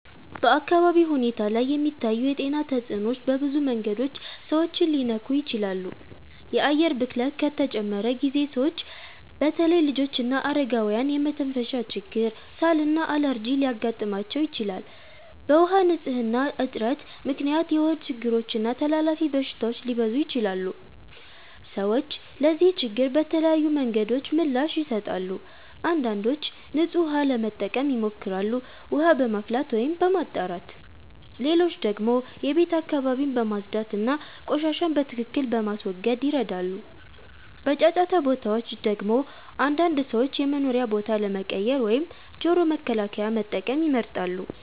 በአካባቢ ሁኔታ ላይ የሚታዩ የጤና ተጽዕኖዎች በብዙ መንገዶች ሰዎችን ሊነኩ ይችላሉ። የአየር ብክለት ከተጨመረ ጊዜ ሰዎች በተለይ ልጆችና አረጋውያን የመተንፈሻ ችግር፣ ሳል እና አለርጂ ሊያጋጥማቸው ይችላል። በውሃ ንፅህና እጥረት ምክንያት የሆድ ችግሮች እና ተላላፊ በሽታዎች ሊበዙ ይችላሉ። ሰዎች ለዚህ ችግር በተለያዩ መንገዶች ምላሽ ይሰጣሉ። አንዳንዶች ንጹህ ውሃ ለመጠቀም ይሞክራሉ፣ ውሃ በማፍላት ወይም በማጣራት። ሌሎች ደግሞ የቤት አካባቢን በማጽዳት እና ቆሻሻን በትክክል በመወገድ ይረዳሉ። በጫጫታ ቦታዎች ደግሞ አንዳንድ ሰዎች የመኖሪያ ቦታ ለመቀየር ወይም ጆሮ መከላከያ መጠቀም ይመርጣሉ።